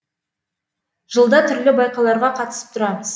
жылда түрлі байқауларға қатысып тұрамыз